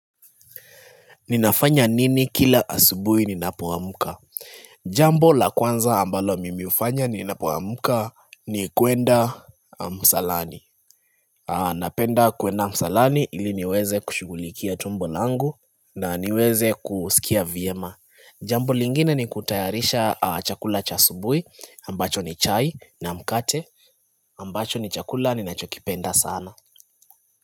Ninafanya nini kila asubui ninapoamka Jambo la kwanza ambalo mimi hufanya ninapoamka ni kuenda msalani Napenda kuenda msalani ili niweze kushughulikia tumbo langu na niweze kusikia vyema Jambo lingine ni kutayarisha chakula cha asubuhi ambacho ni chai na mkate ambacho ni chakula ninachokipenda sana.